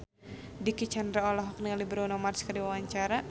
Dicky Chandra olohok ningali Bruno Mars keur diwawancara